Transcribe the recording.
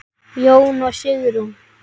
Jón og Sigrún.